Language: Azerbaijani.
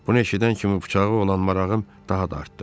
Bunu eşidən kimi bıçağı olan marağım daha da artdı.